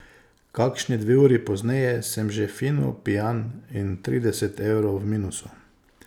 Kakšni dve uri pozneje sem že fino pijan in trideset evrov v minusu.